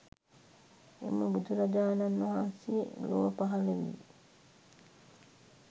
එම බුදුරජාණන් වහන්සේ ලොව පහළ වී